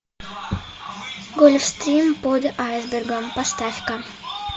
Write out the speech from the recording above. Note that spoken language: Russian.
гольфстрим под айсбергом поставь ка